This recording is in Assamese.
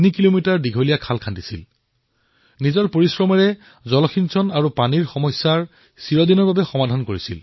মোৰ মৰমৰ দেশবাসীসকল প্ৰতিবছৰৰ দৰে এইবাৰো পদ্ম বঁটাকলৈ উৎসুকতা প্ৰকাশ হোৱা দেখা গৈছিল